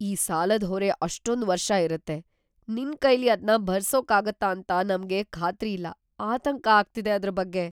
ಈ ಸಾಲದ್‌ ಹೊರೆ ಅಷ್ಟೊಂದ್‌ ವರ್ಷ ಇರತ್ತೆ, ನಿನ್‌ ಕೈಲಿ ಅದ್ನ ಭರಿಸೋಕಾಗತ್ತಾ ಅಂತ ನಮ್ಗೆ ಖಾತ್ರಿ ಇಲ್ಲ, ಆತಂಕ ಆಗ್ತಿದೆ ಅದ್ರ್‌ ಬಗ್ಗೆ.